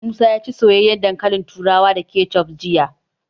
Musa ya ci soyayyen dankalin turawa da kecef jiya.